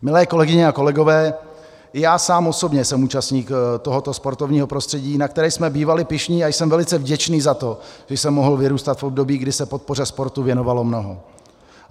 Milé kolegyně a kolegové, já sám osobně jsem účastníkem tohoto sportovního prostředí, na které jsme bývali pyšní, a jsem velice vděčný za to, že jsem mohl vyrůstat v období, kdy se podpoře sportu věnovalo mnoho.